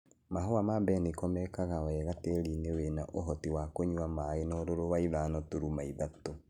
Mahũa ma mbeniko mekaga wega tĩrinĩ wĩna ũhoti wa kũnywa maĩ na ũrũrũ wa ithano turuma ithathatũ.